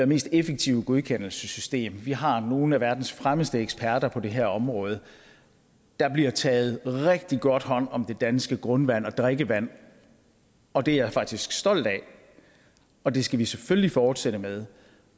mest effektive godkendelsessystem og vi har nogle af verdens fremmeste eksperter på det her område der bliver taget rigtig godt hånd om det danske grundvand og drikkevand og det er jeg faktisk stolt af og det skal vi selvfølgelig fortsætte med